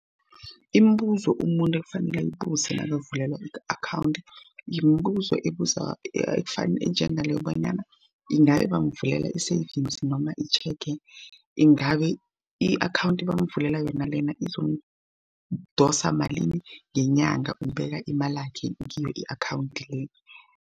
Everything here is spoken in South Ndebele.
Imibuzo umuntu ekufanele ayibuze nakavulelwa i-akhawundi, yimbuzo ebeza enjenga leyo bonyana ingabe bamvulele i-savings noma i-cheque, ingabe i-akhawundi ebamvulele yona lena izokudosa malini ngenyanga ubeka imalakhe kiyo i-akhawundi le.